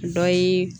Dɔ ye